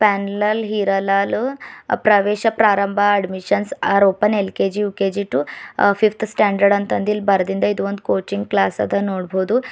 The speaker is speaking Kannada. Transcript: ಪನ್ನಲಾಲ್ ಹೀರಾಲಾಲ್ ಪ್ರವೇಶ ಪ್ರಾರಂಬ admission are open LKG UKG to fifth standard ಅಂತಅಂದ್ ಇಲ್ ಬರ್ದಿನಂದ್ ಇಲ್ಲಿ ಕೋಚಿಂಗ್ಕ್ಲಾಸ್ ನೋಡಬೋದು.